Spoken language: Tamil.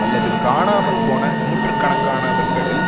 அல்லது காணாமல் போன நூற்று கணக்கானவர்களில்